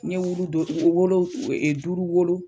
Wulu dɔ o wolo duuru wolo